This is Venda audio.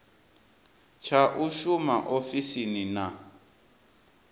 tsha u shuma ofisini na